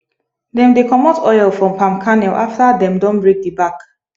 dem dey comot oil from palm kernel after dem don break the back